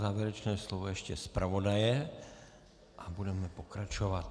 Závěrečné slovo ještě zpravodaje a budeme pokračovat.